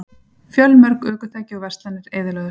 Fjölmörg ökutæki og verslanir eyðilögðust